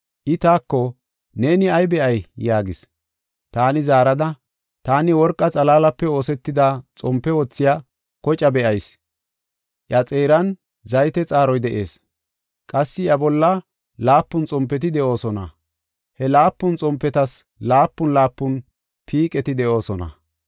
I taako, “Neeni ay be7ay?” yaagis. Taani zaarada, “Taani worqa xalaalape oosetida xompe wothiya kocaa be7ayis; iya xeeran zayte xaaroy de7ees. Qassi iya bolla laapun xompeti de7oosona; he laapun xompetas laapun laapun piiqeti de7oosona.